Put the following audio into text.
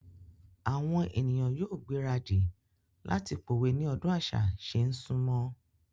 Àwon èniyàn yóò gbéradì láti pòwe ní ọdún àṣà ṣé n súnmọ́.